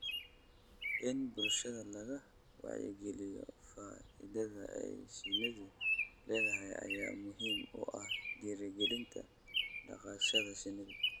In bulshada laga wacyigaliyo faa�iidada ay shinnidu leedahay ayaa muhiim u ah dhiirigelinta dhaqashada shinida.